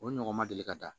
O ɲɔgɔn ma deli ka da